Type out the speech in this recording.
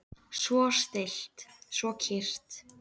Svo stillt, svo kyrrt.